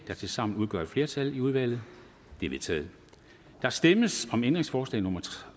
der tilsammen udgør et flertal i udvalget det er vedtaget der stemmes om ændringsforslag nummer